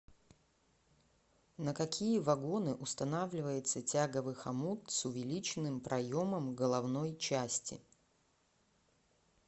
на какие вагоны устанавливается тяговый хомут с увеличенным проемом головной части